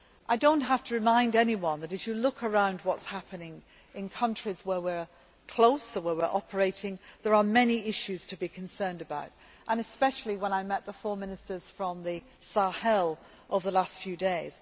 I do not have to remind anyone that, as you look around at what is happening in countries to which we are close or where we are operating, there are many issues to be concerned about, as I was especially aware when I met the four Ministers from the Sahel over the last few days.